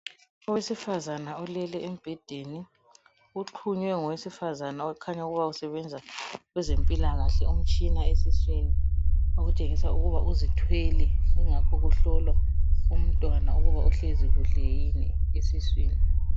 Owesifazane ulele embhedeni, uthunywe ngowesifazana okhanya ukuba usebenza kwezempilakahle umtshina esiswini okutshengisa ukuba uzithwele ingakho kuhlolwa umntwana ukuba uhlezi kuhle yini esiswini.